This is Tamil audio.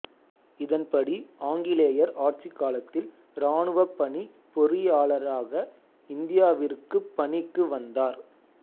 இதன்படி ஆங்கிலேயர் ஆட்சிக் காலத்தில் இராணுவப்பணிப் பொறியாளராக இந்தியாவிற்குப் பணிக்கு வந்தார்